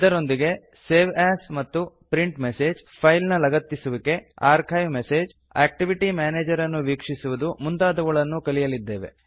ಇದರೊಂದಿಗೆ save as ಮತ್ತು print message file ನ ಲಗತ್ತಿಸುವಿಕೆ ಆರ್ಚಿವ್ ಮೆಸೇಜ್ ಆಕ್ಟಿವಿಟಿ ಮ್ಯಾನೇಜರ್ ಅನ್ನು ವೀಕ್ಷಿಸುವುದು ಮುಂತಾದವುಗಳನ್ನು ಕಲಿಯಲಿದ್ದೆವೆ